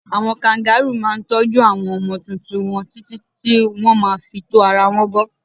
Àwọn káǹgàroò máa ń tọ́jú àwọn ọmọ tuntun wọn títí tí wọn má fi tó ara wọn bo.